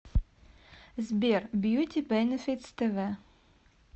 сбер бьюти бэнифитс тэ вэ